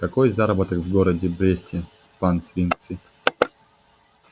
какой заработок в городе бресте пан свицкий